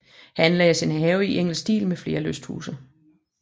Her anlagdes en have i engelsk stil med flere lysthuse